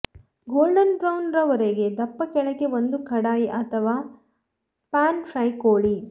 golden brown ರವರೆಗೆ ದಪ್ಪ ಕೆಳಗೆ ಒಂದು ಕಡಾಯಿ ಅಥವಾ ಪ್ಯಾನ್ ಫ್ರೈ ಕೋಳಿ